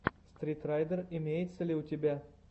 стритрайдер имеется ли у тебя